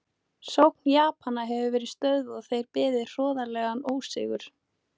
Sókn Japana hafði verið stöðvuð og þeir beðið hroðalegan ósigur.